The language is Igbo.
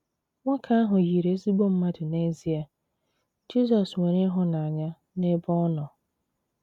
Nwoke ahụ yiri ezigbo mmadụ n’ezie, Jizọs ‘ nwere ịhụnanya n’ebe ọ nọ. ’